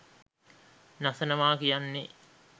නසනවා කියන්නේ.